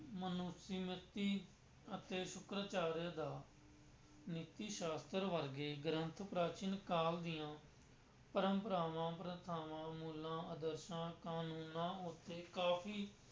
ਮਨੁਸਿਮ੍ਰਤੀ ਅਤੇ ਸੁਕਰਚਾਰਿਆ ਦਾ ਨੀਤੀ ਸ਼ਾਸਤਰ ਵਰਗੇ ਗ੍ਰੰਥ ਪ੍ਰਾਚੀਨ ਕਾਲ ਦੀਆਂ ਪਰੰਪਰਾਵਾ, ਪ੍ਰਥਾਵਾਂ, ਮੁੱਲਾਂ, ਆਦਰਸ਼ਾਂ, ਕਾਨੂੰਨਾਂ ਉੱਤੇ ਕਾਫ਼ੀ